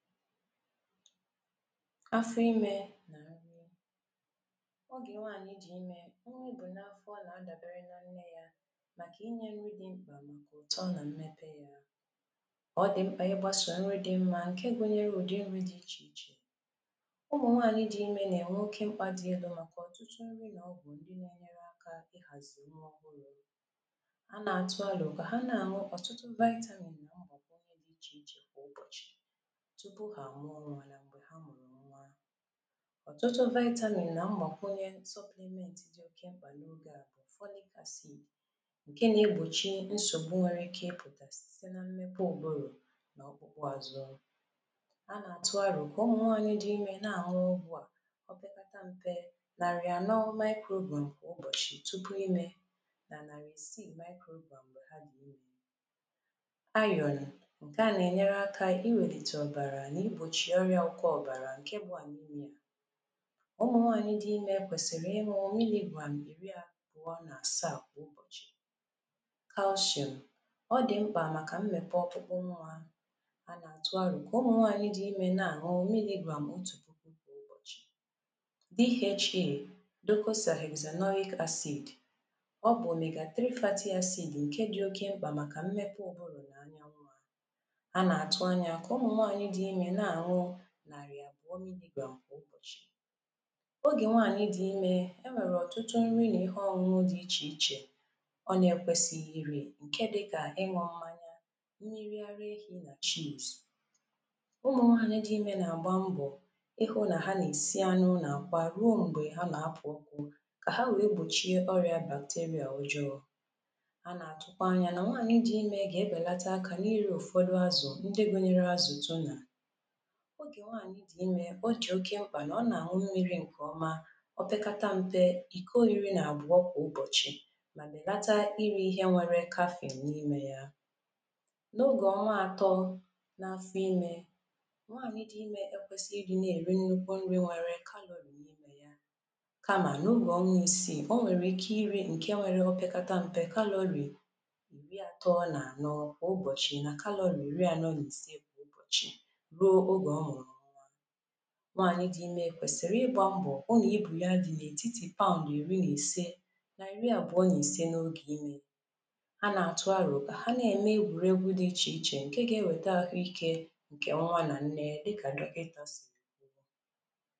Afọ imē nà nri, ogè nwaànyi dị̀ imē, nwa o bù n’afọ nà a dàbere na nne yā, màkà inyē nri dị mkpà màkà ụ̀tọ nà mmepe yā, ọ dị̀ mkpà ịgbāsà ọrụ dị mmā ǹke ga-enwèta urū dị ichè ichè Ụmụ̀nwaànyị dị imē nà-ènwe oke mkpā dị elū màkà ọ̀tụtụ nri nà ọgwụ̀ ndị nā-enyere akā ịhàzị̀ nwa ọhụrụ̄ A nà-àtụ alò kà ha na-àṅụ ọ̀tụtụ ‘vitamins’ nà mgbàkọ ihe dị̄ ichè ichè kwà ụbọ̀chị̀ tupu hà àmụọ nwa nà m̀gbè ha mụ̀rụ̀ nwa. Ọ̀tụtụ ‘vitamin’ nà mgbàkwunye ‘supplement’ dị oke mkpà n’oge à. ‘Folic acid’ ǹke nā-egbòchi nsògbu nwere ike ipụ̀tà site na mmepe ụ̀bụrụ̀ nà ọkpụkpụ azụ, a nà-àtụ arò kà ụmụ̀nwaànyị dị imē na-àṅụ ọgwụ à opekata mpe nàrị̀ ànọ ‘microgram’ kwà ụbọ̀chị̀ tupu imē nà nàrị̀ ìsiī ‘microgram’ m̀gbè ha dị̀ imē. ‘Iron’ ǹke à nà-ènyere akā iwèlìtè ọ̀bàrà nà igbòchì ọrị̄ā ọ̀kọ ọ̀bàrà ǹke bụ̄ ‘anemia’ Ụmụ̀nwaànyị dị imē kwèsìrì ịṅụ̄ ‘miligram’ ìri àbụọ nà àsaà kwà ụbọ̀chɪ̣̀ ‘Calcium’ ọ dị̀ mkpà màkà mmèpè ọkpụkpụ nwa a nà-àtụ arò kà ụmụ̀nwaànyị dị imē na-àṅụ milligram otù puku kwà ụbọ̀chị̀ DHA ‘docosahexaenoic acid’ ọ bụ̀ ‘omega-3 fatty acid’ ǹke dị̄ oke mkpà màkà mmepe ụ̀bụrụ̀ nà anya nwa a nà-àtụ anyā kà ụmụ̀nwaànyị dị imē na-àṅụ nàrị̀ àbụ̀ọ ‘miligram’ kwà ụbọ̀chị̀ Ogè nwaànyị dị̀ imē, e nwèrè ọ̀tụtụ nri nà ihe ọnụnụ dị ichè ichè ọ nā-ekwesīghī irī ǹke dịkà ịṅụ̄ mmanya, mmiri ara éhī nà ‘cheese’ Ụmụ̀nwaànyị dị imē nà-àgba mbọ̀ ịhụ̄ nà ha nà-èsi anyụ̄ nà àkwá rúó m̀gbè ha nà-apụ̄ ụkwụ̄ kà ha wèe gbòchie orìà ‘bacteria’ ọjọọ̄ A nà-àtụkwa anyā nà nwaànyị dị imē gà-ebèlete akā nà irī ụ̀fọdụ azụ̀ ndị gunyere azụ̀ tunà Ogè nwaànyị dị̀ imē, ọ dị̀ oke mkpà nà ọ nà-àṅụ mmīrī ǹkèọma opekata mpe ìko iri nà àbụọ kwà ụbọ̀chị̀ mà bèlata irī ihe nwērē ‘caffeine’ n’imē yā. N’ogè ọnwa atọ n’afọ imē nwaànyi dị imē ekwēsighi ị dị̄ na-èri nnukwu nrī nwere kalōrì n’imē yā, kamà n’ogè ọnwa isiì o nwèrè ike irī ǹke nwērē opekata mpe kalōrì ̄ìri atọ nà ànọ kwà ụbọ̀chị̀ nà kalōrì ìri anọ nà ìse kwà ụbọ̀chị̀ ruo ogè ọ mụ̀rụ̀ nwa Nwaànyi dị imē kwèsìrì ịgbā mbọ̀ hụ nà ibù ya dị̀ n’ètitì ‘pound’ ìri nà ìse nà ìri àbụọ nà ìse n’ogè imē, a nà-àtụ arò kà ha na-ème egwùregwū dị ichè ichè ǹke gā-ewèta àhụikē ǹkè nwa nà nne dịkà dọkịtà sìrì kwuo